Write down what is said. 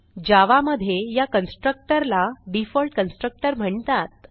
जावा मधे या कन्स्ट्रक्टर ला डिफॉल्ट कन्स्ट्रक्टर म्हणतात